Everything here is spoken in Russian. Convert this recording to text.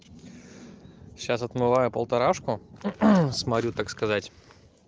сейчас отмываю полторашку смотрю так сказать